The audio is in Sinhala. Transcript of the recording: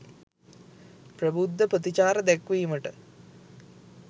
ප්‍රබුද්ධ ප්‍රතිචාර දැක්වීමට